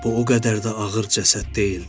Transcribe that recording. Bu o qədər də ağır cəsəd deyildi.